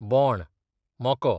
बोण, मको